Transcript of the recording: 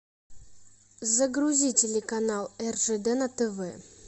загрузи телеканал ржд на тв